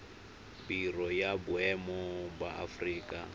biro ya boemo ya aforika